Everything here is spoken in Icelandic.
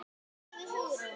sagði Hugrún.